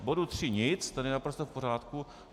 K bodu tři nic, ten je naprosto v pořádku.